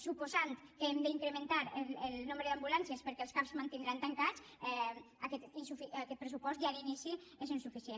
suposant que hem d’incrementar el nombre d’ambulàncies perquè els cap es mantindran tancats aquest pressupost ja d’inici és insuficient